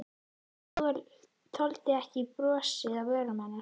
Þoldi ekki brosið á vörum hennar.